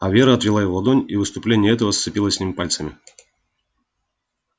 а вера отвела его ладонь и в искупление этого сцепилась с ним пальцами